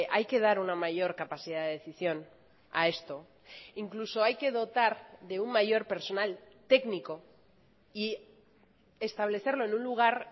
hay que dar una mayor capacidad de decisión a esto incluso hay que dotar de un mayor personal técnico y establecerlo en un lugar